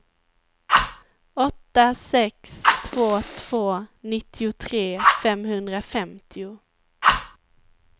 åtta sex två två nittiotre femhundrafemtio